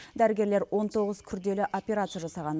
дәрігерлер он тоғыз күрделі операция жасаған